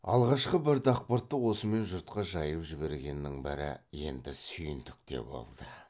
алғашқы бір дақпыртты осымен жұртқа жайып жібергеннің бірі енді сүйіндік те болды